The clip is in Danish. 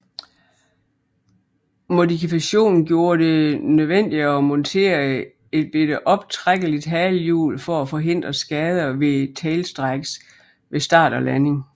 Modifikationen gjorde det nødvendigt at montere et lille optrækkeligt halehjul for at forhindre skader ved tailstrikes ved start og landing